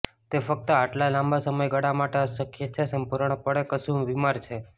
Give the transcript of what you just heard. તે ફક્ત આટલા લાંબા સમયગાળા માટે અશક્ય છે સંપૂર્ણપણે કશું બીમાર છે